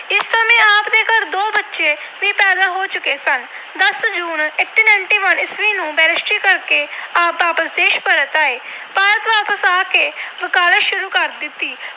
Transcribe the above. ਦੋ ਬੱਚੇ ਵੀ ਪੈਦਾ ਹੋ ਚੁੱਕੇ ਸਨ। ਦਸ June ਅਠਾਰਾਂ ਸੌ ਇਕਾਨਵੇਂ ਈਸਵੀ ਨੂੰ Barrister ਕਰਕੇ ਆਪ ਵਾਪਸ ਦੇਸ਼ ਪਰਤ ਆਏ। ਭਾਰਤ ਵਾਪਸ ਆ ਕੇ ਵਕਾਲਤ ਸ਼ੁਰੂ ਕਰ ਦਿੱਤੀ।